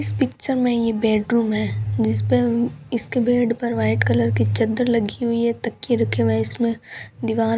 इस पिक्चर में यह बेडरूम है जिसपे इसके बेड पर वाइट कलर की चद्दर लगी हुई है तकिए रखे हुए हैं इसमें दीवार --